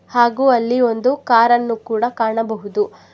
ಹಾಗು ಅಲ್ಲಿ ಒಂದು ಕಾರನ್ನು ಕೂಡ ಕಾಣಬಹುದು.